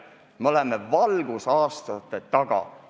Me oleme valgusaastaid teistest maas.